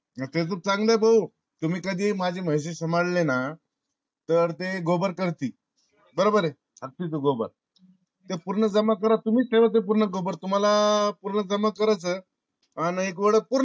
हे तर चांगल भाऊ. तुम्ही कधी माझे म्हशी सांभाळ ले ना तर ते gobar करतील. बरोबर ये? अन तेच gobar ते पूर्ण जमा करा तुम्हीच ठेवा ते पूर्ण तुम्हाला पूर्ण जमा करायचं आणि एक वेडा